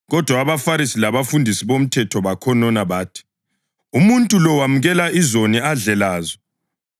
Kodwa abaFarisi labafundisi bomthetho bakhonona bathi, “Umuntu lo wemukela izoni adle lazo.”